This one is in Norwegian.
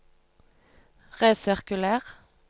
resirkuler